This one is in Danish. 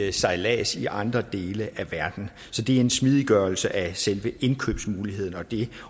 i sejlads i andre dele af verden så det er en smidiggørelse af selve indkøbsmuligheden og det